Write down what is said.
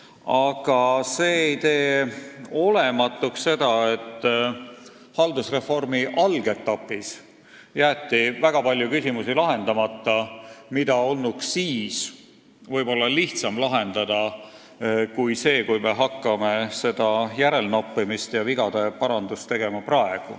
Aga see ei tee olematuks tõsiasja, et haldusreformi algetapis jäeti lahendamata väga palju küsimusi, mida olnuks siis ehk lihtsam lahendada kui nüüd, mil me hakkame järelnoppimist ja vigade parandust tegema.